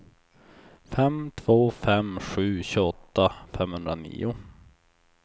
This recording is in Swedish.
fem två fem sju tjugoåtta femhundranio